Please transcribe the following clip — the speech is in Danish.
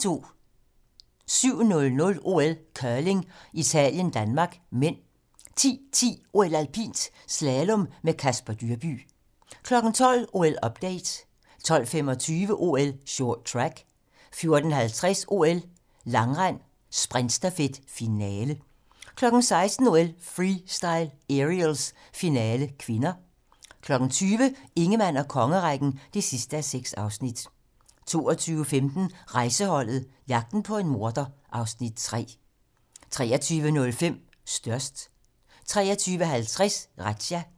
07:00: OL: Curling - Italien-Danmark (m) 10:10: OL: Alpint - slalom med Casper Dyrbye 12:00: OL-update 12:25: OL: Short track 14:50: OL: Langrend - sprintstafet, finale 16:00: OL: Freestyle - aerials, finale (K) 20:00: Ingemann og kongerækken (6:6) 22:15: Rejseholdet - jagten på en morder (Afs. 3) 23:05: Størst 23:50: Razzia